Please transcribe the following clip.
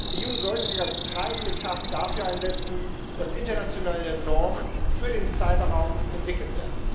Die EU sollte sich als treibende Kraft dafür einsetzen, dass internationale Normen für den Cyberraum entwickelt werden.